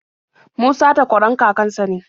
Musa takwaran kakan sa ne.